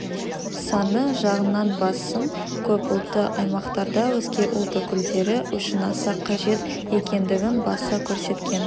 саны жағынан басым көп ұлтты аймақтарда өзге ұлт өкілдері үшін аса қажет екендігін баса көрсеткен